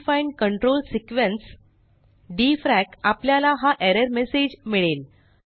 undefined control sequence dfrac आपल्याला हा error message मिळेल